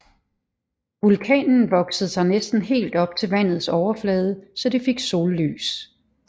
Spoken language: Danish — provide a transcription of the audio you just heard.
Vulkanen voksede sig næsten helt op til vandets overflade så det fik sollys